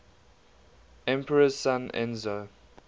emperor's son enzo